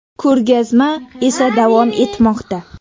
Ko‘rgazma esa davom etmoqda.